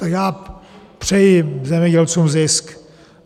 Tak já přeji zemědělcům zisk.